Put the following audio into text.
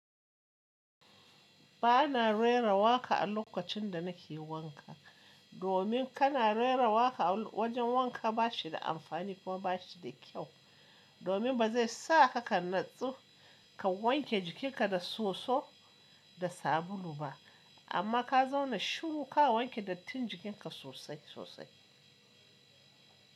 Ba na rera wa ka a lokacin da na ke wanka. Domin kana rera wa ka a wajen wanka ba shi da amfani kuma ba shi da kyau. Domin ba zai sa ka kan natsu ka wanke jikinka da soso da sabulu ba. Amma ka zauna shiru ka wanke dattin jikinka sosai sosai.